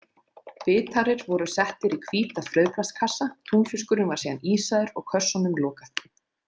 Bitarir voru settir í hvíta frauðplastkassa, túnfiskurinn var síðan ísaður og kössunum lokað.